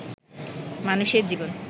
মানুষের জীবন